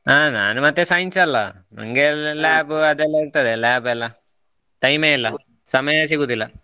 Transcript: ಹಾ ನಾನು ಮತ್ತೆ science ಅಲ್ವಾ ನಂಗೆ ಅದು lab ಅದೆಲ್ಲ ಇರ್ತದೆ lab ಎಲ್ಲಾ time ಯೇ ಇಲ್ಲಾ ಸಮಯ ಸಿಗುವುದಿಲ್ಲ